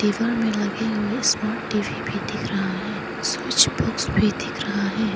दीवार में लगे हुए स्मार्ट टीवी भी दिख रहा है स्विच बॉक्स भी दिख रहा है।